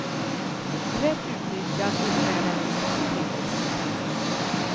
Rätt utnyttjad innebär den en stor tillväxtpotential.